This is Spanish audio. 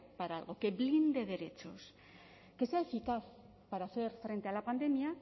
para algo que blinde derechos que se han citado para hacer frente a la pandemia